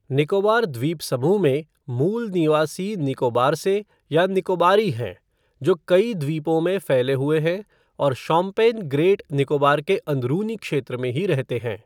निकोबार द्वीप समूह में, मूल निवासी निकोबार से या निकोबारी हैं, जो कई द्वीपों में फैले हुए हैं, और शोम्पेन ग्रेट निकोबार के अंदरूनी क्षेत्र में ही रहते हैं।